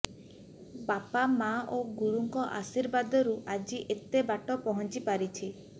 ବାପା ମା ଓ ଗୁରୁଙ୍କ ଆଶୀର୍ବାଦରୁ ଆଜି ଏତେ ବାଟ ପହଞ୍ଚି ପାରିଛି